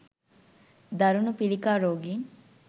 දරුණු පිළිකා රෝගීන්